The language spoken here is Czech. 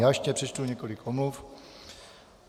Já ještě přečtu několik omluv.